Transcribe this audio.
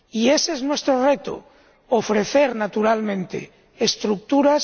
Y ese es nuestro reto ofrecer, naturalmente, estructuras